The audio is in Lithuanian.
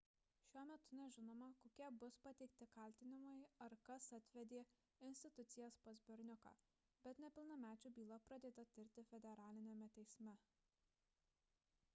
šiuo metu nežinoma kokie bus pateikti kaltinimai ar kas atvedė institucijas pas berniuką bet nepilnamečių byla pradėta tirti federaliniame teisme